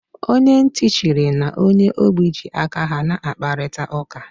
Onye ntị chiri na onye ogbi ji aka ha na-akparịta ụka